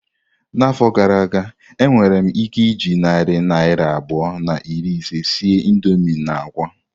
N'afọ gara aga, enwere m ike iji narị naira abụọ na iri ise sie indomii na akwa.